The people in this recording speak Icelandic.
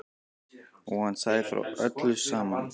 Og hann sagði frá öllu saman.